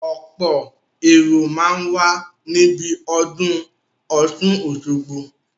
Ọ̀pọ̀ èrò máa ń wà níbi ọdún Ọ̀sun Osogbo